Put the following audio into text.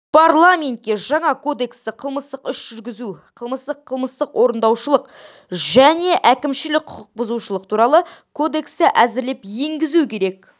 парламентке жаңа кодексті қылмыстық-іс жүргізу қылмыстық қылмыстық-орындаушылық және әкімшілік құқық-бұзушылық туралы кодексті әзірлеп енгізу керек